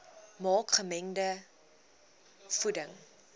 maak gemengde voeding